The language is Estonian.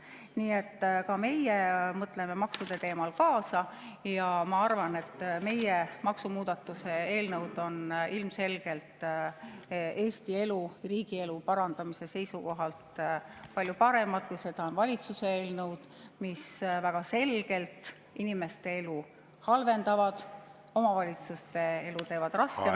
Nii et ka meie mõtleme maksude teemal kaasa ja ma arvan, et meie maksumuudatuste eelnõud on ilmselgelt Eesti elu, riigielu parandamise seisukohalt palju paremad, kui seda on valitsuse eelnõud, mis väga selgelt inimeste elu halvendavad ja omavalitsuste elu teevad raskemaks.